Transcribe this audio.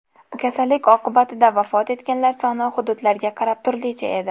Kasallik oqibatida vafot etganlar soni hududlarga qarab turlicha edi.